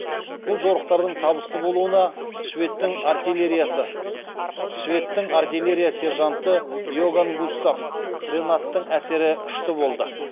бұл жорықтардың табысты болуына шведтің артиилерия сержанты иоганн густав ренаттың әсері күшті болды